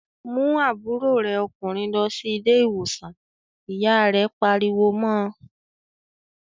"Mú àbúrò rẹ ọkùnrin lọ sí ilé-ìwòsàn!" Ìyá rẹ̀ pariwo mọ́ ọ.